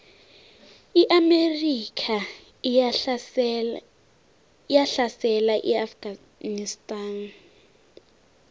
iamerika yahlasela iafganistan